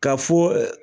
Ka fɔ